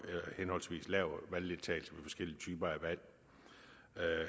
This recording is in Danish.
lav valgdeltagelse for forskellige typer af valg